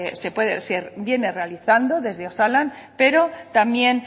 se viene realizando desde osalan pero también